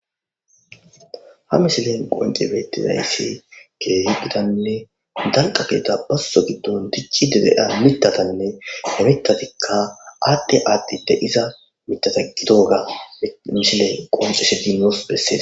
Ha misilen qoncci beettizayssi keehi gitanne dalgga gidida bazzo giddon dicciiiddi de7iya mittatane tatikka aadhi aadhi de7iza mittata gidoga misiley qonccisidi nuus bessees.